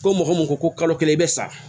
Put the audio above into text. Ko mɔgɔ min ko ko kalo kelen i bɛ sa